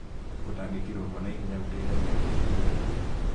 Gũtangĩkĩrũo kwa naihenya nĩgũteithagia kũnyihia ikuũ